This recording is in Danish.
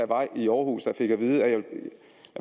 var i aarhus fik at vide at